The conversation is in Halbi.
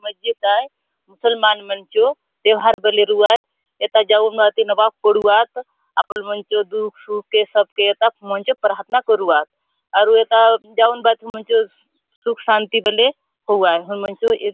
मस्जिद आय मुस्लमान मन चो त्योहार बले रहू आय ऐ ता जाऊ हून बाती नवाब पढू आत आपलो पन दुःख - सुख के सब के एता पहुचे प्राथना करुआत आउर एता जाऊ हुन भाति सुख शांति बले होऊ हुन मन चो ए--